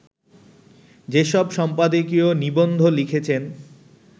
যেসব সম্পাদকীয়-নিবন্ধ লিখেছেন